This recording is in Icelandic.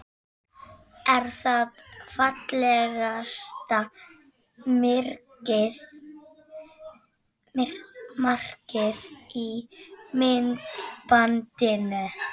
Er það fallegasta markið í myndbandinu?